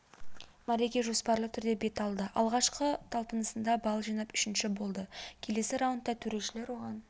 мәреге жоспарлы түрде бет алды алғашқы талпынысында балл жинап үшінші болды келесі раундта төрешілер оған